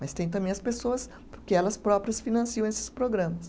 Mas tem também as pessoas que elas próprias financiam esses programas.